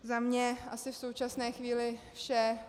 Za mě asi v současné chvíli vše.